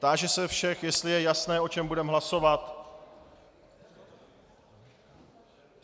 Táži se všech, jestli je jasné, o čem budeme hlasovat.